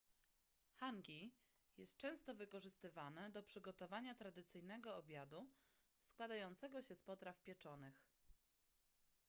hangi jest często wykorzystywane do przygotowania tradycyjnego obiadu składającego się z potraw pieczonych